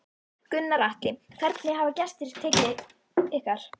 Gunnar Atli: Hvernig hafa gestir tekið ykkar?